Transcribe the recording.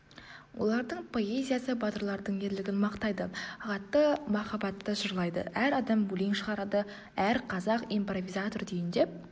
олардың поэзиясы батырлардың ерлігін мақтайды ғатты махаббатты жырлайды әр адам өлең шығарады әр қазақ импровизатор түйіндеп